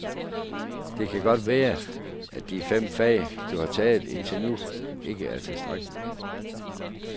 Det kan godt være, at de fem fag, du har taget indtil nu, ikke er tilstrækkeligt.